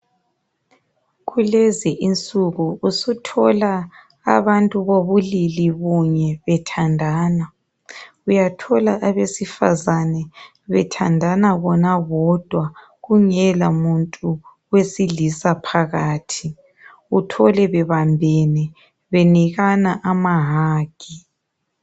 kulezi insuku usuthola abantu bobulili bunye bethathandana uyathola abesifazane bethandana bona bodwa kungela muntu wesilisa phakathi thole bebambene benikana ama hug